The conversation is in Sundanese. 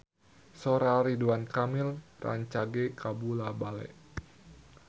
Sora Ridwan Kamil rancage kabula-bale